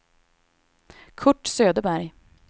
Curt Söderberg